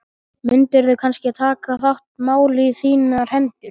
Mundirðu kannski taka þetta mál í þínar hendur?